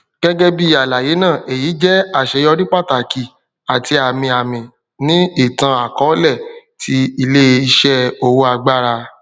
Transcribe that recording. gẹgẹbi alaye naa eyi jẹ aṣeyọri pataki ati amiami ni itanakọọlẹ ti ileiṣẹ owo agbara